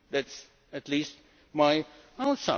this easier. That is, at least,